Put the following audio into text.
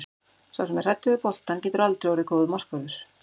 Sá sem er hræddur við boltann getur aldrei orðið góður markvörður.